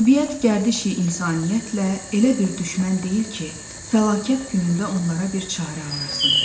Təbiət gərdişi insaniyyətlə elə bir düşmən deyil ki, fəlakət günündə onlara bir çarə arasın.